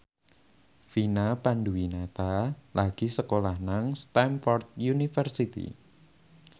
Vina Panduwinata lagi sekolah nang Stamford University